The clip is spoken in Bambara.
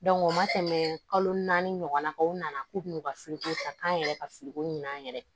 u ma tɛmɛ kalo naani ɲɔgɔnna kan u nana k'u bɛna fili ko ta k'an yɛrɛ ka firiko ɲini an yɛrɛ ye